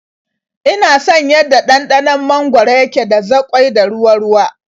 Ina son yanda ɗanɗanon mangwaro yake da zaƙoi da ruwa-ruwa.